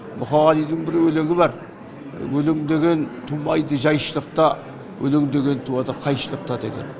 мұқағалидың бір өлеңі бар өлең деген тумайды жайшылықта өлең деген туады қайшылықта деген